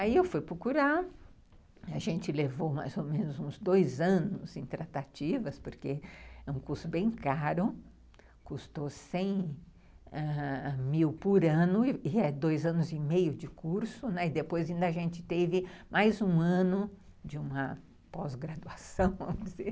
Aí eu fui procurar, a gente levou mais ou menos uns dois anos em tratativas, porque é um curso bem caro, custou cem ãh mil por ano, e é dois anos e meio de curso, e depois ainda a gente teve mais um ano de uma pós-graduação, vamos dizer.